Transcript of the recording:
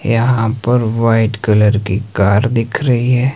यहां पर white colour की कार दिख रही है।